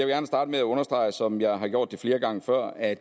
gerne starte med at understrege som jeg har gjort det flere gange før at